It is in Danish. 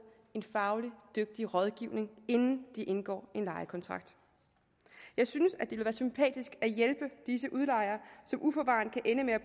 en fagligt dygtig rådgivning inden man indgår en lejekontrakt jeg synes at det ville være sympatisk at hjælpe disse udlejere som uforvarende kan ende med at